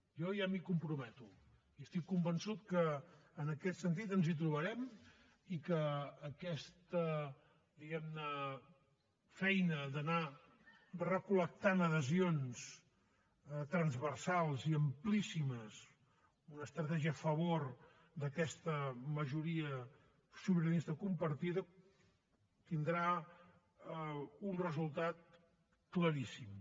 jo ja m’hi comprometo i estic convençut que en aquest sentit ens trobarem i que aquesta feina d’anar recol·lectant adhesions transversals i amplíssimes una estratègia a favor d’aquesta majoria sobiranista compartida tindrà un resultat claríssim